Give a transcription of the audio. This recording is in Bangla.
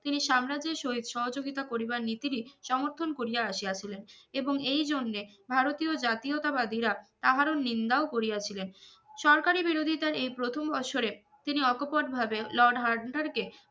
তিনি সাম্রাজ্যের সইব সহযোগিতার করিবার নীতিরই সমর্থন করিয়া আসিয়াছিলেন এবং এইজন্য ভারতীয় জাতীয়তাবাদীরা তাহার ও নিন্দাও করিয়া ছিলেন সরকারি বিরোধিতা এই প্রথম বছর এ তিনি অকপট ভাবে লর্ড হান্ডার কে